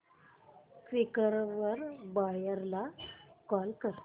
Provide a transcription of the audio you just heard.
Quikr वर buyer ला call कर